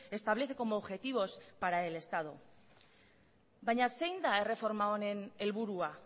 establece como objetivos para el estado baina zein da erreforma honen helburuaa